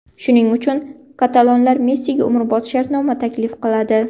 Shuning uchun, katalonlar Messiga umrbod shartnoma taklif qiladi.